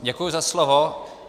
Děkuji za slovo.